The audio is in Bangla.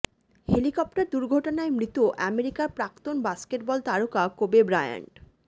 হেলিকপ্টার দুর্ঘটনায় মৃত আমেরিকার প্রাক্তন বাস্কেটবল তারকা কোবে ব্রায়ান্ট